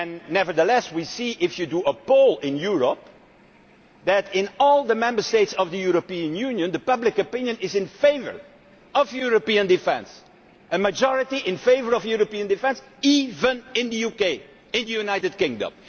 Nevertheless we see that, if you carry out a poll in Europe, in all the Member States of the European Union public opinion is in favour of European defence a majority in favour of European defence, even in the United Kingdom.